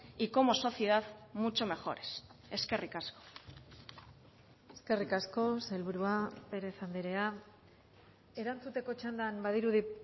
y como sociedad mucho mejores eskerrik asko eskerrik asko sailburua pérez andrea erantzuteko txandan badirudi